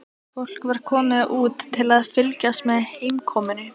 Fólk var komið út til að fylgjast með heimkomunni.